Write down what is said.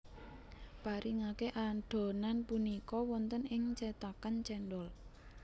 Paringake adhonan punika wonten ing cetakan cendhol